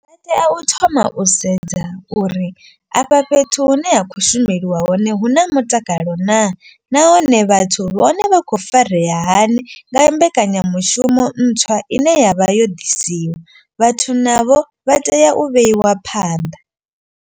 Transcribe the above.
Vha tea u thoma u sedza uri afha fhethu hune ha khou shumelwa hone hu na mutakalo naa. Nahone vhathu vhone vha kho farea hani nga mbekanyamushumo ntswa ine yavha yo ḓisiwa. Vhathu navho vha tea u vheiwa phanḓa.